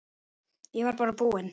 Ég var bara búinn.